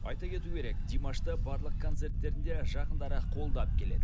айта кету керек димашты барлық концерттерінде жақындары қолдап келеді